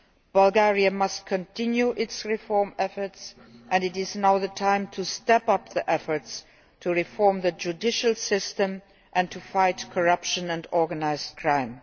Bulgaria must continue its reform efforts and it is now the time to step up the efforts to reform the judicial system and fight corruption and organised crime.